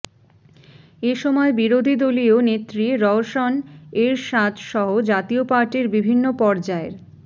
এ সময় বিরোধীদলীয় নেত্রী রওশন এরশাদসহ জাতীয় পার্টির বিভিন্ন পর্যায়ের